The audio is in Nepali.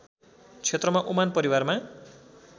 क्षेत्रमा ओमान परिवारमा